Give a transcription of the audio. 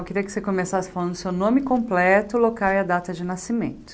Eu queria que você começasse falando o seu nome completo, local e a data de nascimento.